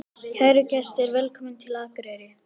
Kæru gestir! Velkomnir til Akureyrar.